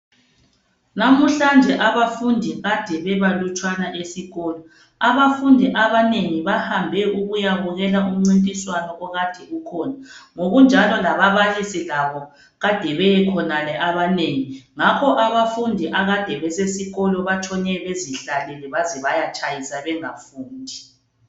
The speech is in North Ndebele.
Lamuhlanje abafundi kade bebalutshwane esikolo. Abafundi abanengi bahambe ukuyabukela umncintiswano okade ukhona. Ngokunjalo lababalisi labo kade beyekhonale abanengi . Ngakho abafundi akade besesikolo batshone bezihlalele baze bayatshayisa bengafundi.